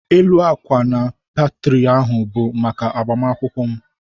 Élú akwa na peteri ahụ bu maka egbumunkwu m